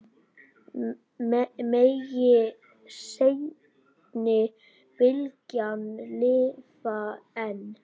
Megi seinni bylgjan lifa enn.